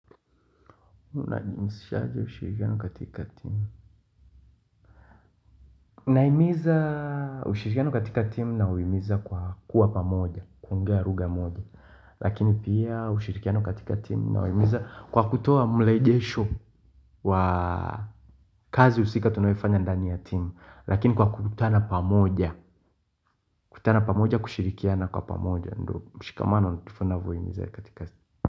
Nahimiza ushirikiano katika timu na uhimiza kwa kuwa pamoja kuongea lugha moja Lakini pia ushirikiano katika timu nawaimiza kwa kutoa mrejesho wa kazi husika tunayoifanya ndani ya timu Lakini kwa kukutana pamoja kutana pamoja kutana pamoja kushirikiana kwa pamoja ndo mshikamano ninavyohiza katika timu.